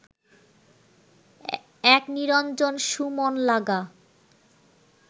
এক নিরঞ্জন সু মন লাগা